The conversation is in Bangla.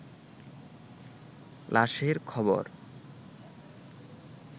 লাশের খবর